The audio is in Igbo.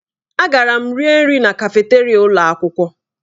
Agara m rie nri na kafeteria ụlọ akwụkwọ.